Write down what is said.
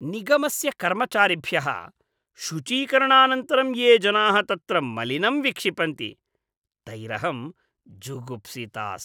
निगमस्य कर्मचारिभ्यः शुचीकरणानन्तरं ये जनाः तत्र मलिनं विक्षिपन्ति तैरहं जुगुप्सिता अस्मि।